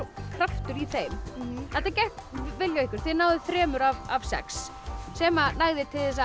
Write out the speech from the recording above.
kraftur í þeim þetta gekk vel hjá ykkur þið náðuð þremur af sex sem nægði til þess að